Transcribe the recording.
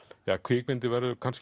ja kvikmyndin verður kannski